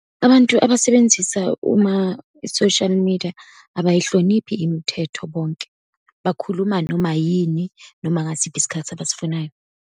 Abantu abasebenzisa uma i-social media abayihloniphi imithetho bonke. Bakhuluma noma yini, noma ngasiphi isikhathi abasifunayo.